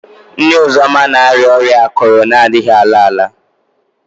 Nne Uzoma na-arịa ọrịa akụrụ na-adịghị ala ala